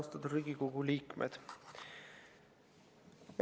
Austatud Riigikogu liikmed!